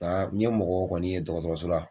n ye mɔgɔw kɔni ye dɔgɔtɔrɔso la